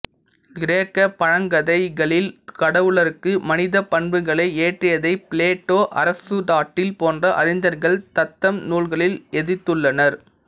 கிரேக்கப்பழங்கதைகளில் கடவுளர்க்கு மனிதப்பண்புகளை ஏற்றியதை பிளேட்டோ அரிசுடாட்டில் போன்ற அறிஞர்கள் தத்தம் நூல்களில் எதிர்த்துள்ளனர்